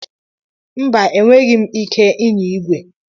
Mba, enweghị m ike ịnya igwe.